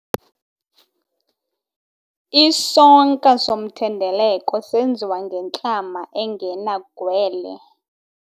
Isonka somthendeleko senziwa ngentlama engenagwele.